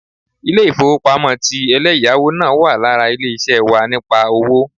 Ilé-ìfowópamọ́ ti eléyáwó náà wà lára ilé ṣé wà nípa owó